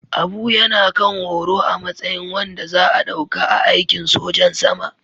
Abu yana kan horo a matsayin wanda za a ɗauka a aikin sojan sama